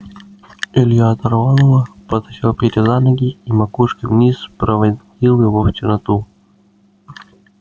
илья оторвал его подтащил петю за ноги и макушкой вниз спровадил его в черноту